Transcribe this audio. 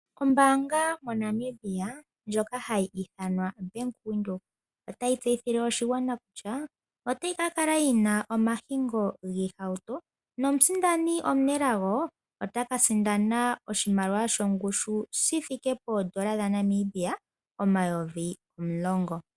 Ombaanga moNamibia ndjoka hayi ithanwa BankWindhoek otayi tseyithile oshigwana kutya otayi ka kala yina omahingo giihauto nomusindani omunelago ota ka sindana oshimaliwa shongushu shithike poodola dhaNamibia omayovi omulongo